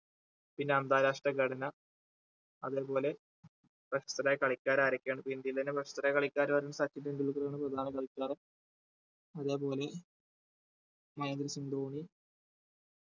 പിന്നെ അന്താരാഷ്ട്ര ഘടന അതേപോലെ best റായ കളിക്കാർ ആരൊക്കെയാണ് ഇപ്പൊ ഇന്ത്യയിൽ തന്നെ best റായ കളിക്കാരെന്ന് പറയുമ്പോ സച്ചിൻ ടെണ്ടുൽക്കർ ആണ് പ്രധാന കളിക്കാരൻ അതേ പോലെ മഹേന്ദ്ര സിങ് ധോണി